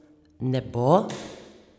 Ne bo!